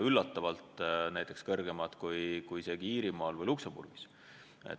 Üllatavalt on need suuremad kui isegi Iirimaal või Luksemburgis.